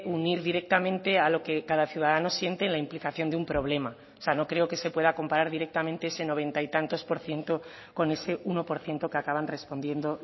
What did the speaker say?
unir directamente a lo que cada ciudadano siente en la implicación de un problema o sea no creo que se pueda comparar directamente ese noventa y tantos por ciento con ese uno por ciento que acaban respondiendo